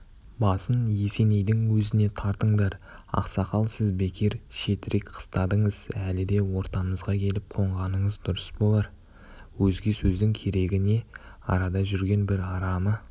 басын есенейдің өзіне тартыңдар ақсақал сіз бекер шетірек қыстадыңыз әлі де ортамызға келіп қонғаныңыз дұрыс болар өзге сөздің керегі не арада жүрген бір арамы